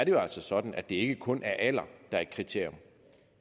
jo altså sådan at det ikke kun er alder der er et kriterium